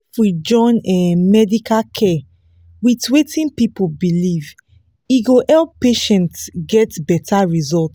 if we fit join um medical care with wetin people believe e go help patients get better result.